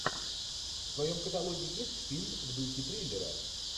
в твоем каталоге есть фильм в духе триллера